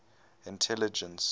intelligence